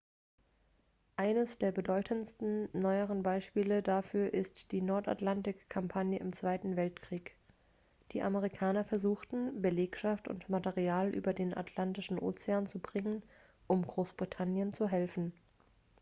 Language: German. eines der bedeutendsten neueren beispiele dafür ist die nordatlantik-kampagne im zweiten weltkrieg die amerikaner versuchten belegschaft und material über den atlantischen ozean zu bringen um großbritannien zu helfen